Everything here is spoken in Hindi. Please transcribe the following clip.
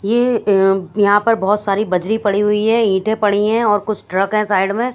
ये उम् अ यहाँ पर बहत सारे बजरी पड़ी हुई है ईँटे पड़ी है और कुछ ट्रके है साइड में--